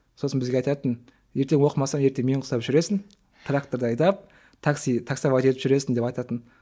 сосын бізге айтатын ертең оқымасаң ертең мен құсап жүресің тракторды айдап такси таксовать етіп жүресің деп айтатын